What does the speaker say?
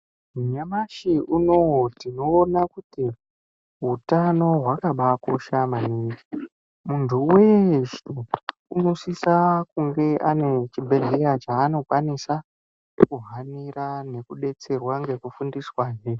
Nyamashi unoo tinoona kuti utano hwakabaakosha maningi. Muntu weshe unosisa kunge ane chibhehleya chaanokwanisa kuhanira nekudetserwa ngekufundiswahe.